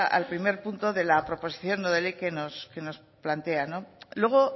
al primer punto de la proposición no de ley que nos plantea luego